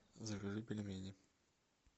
закажи пельмени